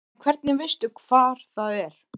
En hvernig veistu hvar það er?